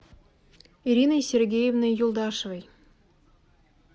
ириной сергеевной юлдашевой